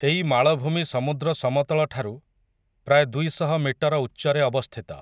ଏଇ ମାଳଭୂମି ସମୁଦ୍ର ସମତଳଠାରୁ, ପ୍ରାୟ ଦୁଇ ଶହ ମିଟର ଉଚ୍ଚରେ ଅବସ୍ଥିତ ।